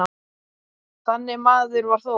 Þannig maður var Þór.